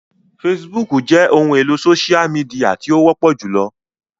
Fèsìbúukù jẹ ohun elo sósia mìdìya ti o wọpọ julọ